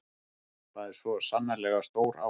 Þetta er svo sannarlega stór áfangi